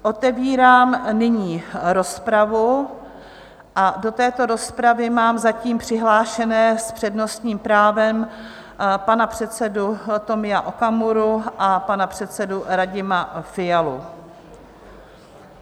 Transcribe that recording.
Otevírám nyní rozpravu a do této rozpravy mám zatím přihlášené s přednostním právem pana předsedu Tomia Okamuru a pana předsedu Radima Fialu.